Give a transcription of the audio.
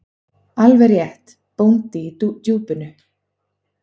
Alveg rétt: Bóndi í Djúpinu.